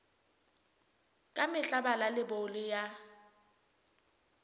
ka mehla bala leibole ya